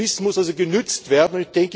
Das Wissen muss also genützt werden.